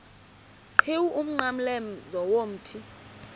qhiwu umnqamlezo womthi